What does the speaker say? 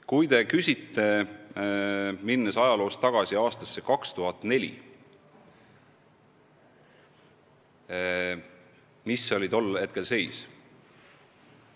Kui te tahate tagasi minna aastasse 2004, siis milline oli tol ajal seis?